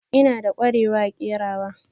Ina da ƙwarewa a kerawa.